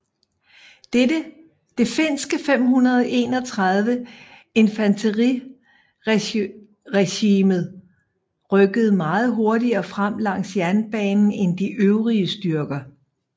Det finske 531 infanteriregiment rykkede meget hurtigere frem langs jernbanen end de øvrige styrker